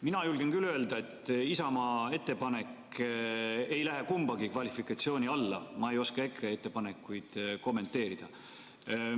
" Mina julgen küll öelda, et Isamaa ettepanek ei lähe kummagi kvalifikatsiooni alla, EKRE ettepanekuid ma ei oska kommenteerida.